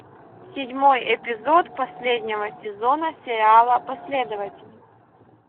седьмой эпизод последнего сезона сериала последователи